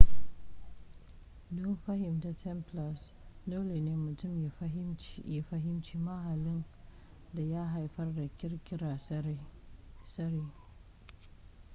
don fahimtar templars dole ne mutum ya fahimci mahallin da ya haifar da ƙirƙirar tsari